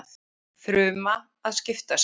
fruma að skipta sér